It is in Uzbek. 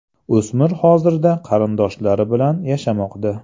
O‘smir hozirda qarindoshlari bilan yashamoqda.